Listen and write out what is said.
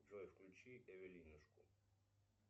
джой включи эвелинушку